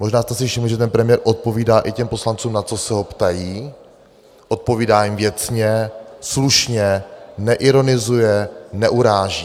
Možná jste si všimli, že ten premiér odpovídá i těm poslancům, na co se ho ptají, odpovídá jim věcně, slušně, neironizuje, neuráží.